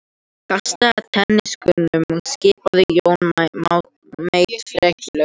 Kastaðu teningunum skipaði Johnny Mate frekjulega.